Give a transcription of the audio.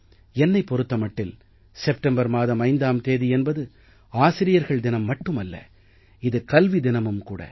என்னைப் பொறுத்த மட்டில் செப்டம்பர் மாதம் 5ஆம் தேதி என்பது ஆசிரியர்கள் தினம் மட்டுமல்ல இது கல்வி தினமும் கூட